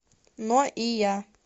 но и я